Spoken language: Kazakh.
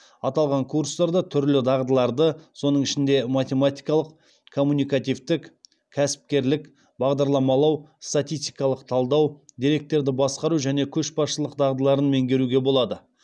аталған курстарда түрлі дағдыларды соның ішінде математикалық коммуникативтік кәсіпкерлік бағдарламалау статистикалық талдау деректерді басқару және көшбасшылық дағдыларын меңгеруге болады